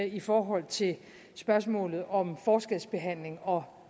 i forhold til spørgsmålet om forskelsbehandling og